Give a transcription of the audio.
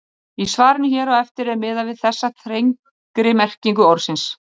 Í svarinu hér á eftir er miðað við þessa þrengri merkingu orðsins.